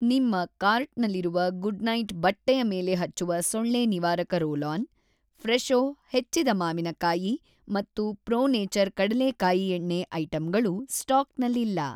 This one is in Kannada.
ನಿಮ್ಮ ಕಾರ್ಟ್‌ನಲ್ಲಿರುವ ಗುಡ್‌ನೈಟ್‌ ಬಟ್ಟೆಯ ಮೇಲೆ‌ ಹಚ್ಚುವ ಸೊಳ್ಳೆ ನಿವಾರಕ ರೋಲ್‌ ಆನ್‌ ಫ್ರೆಶೋ ಹೆಚ್ಚಿದ ಮಾವಿನಕಾಯಿ ಮತ್ತು ಪ್ರೋ ನೇಚರ್ ಕಡಲೇಕಾಯಿ ಎಣ್ಣೆ ಐಟಂಗಳು ಸ್ಟಾಕ್‌ನಲ್ಲಿಲ್ಲ.